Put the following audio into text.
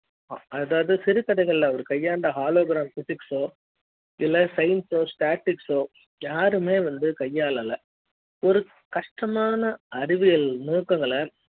அதாவது சிறு தடைகள் அவர் கையாண்ட hologram physics இல்ல science statics களோ யாருமே வந்து கையால ஒரு கஷ்ட மான அறிவியல் நுணுக்கங்களை